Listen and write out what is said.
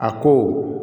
A ko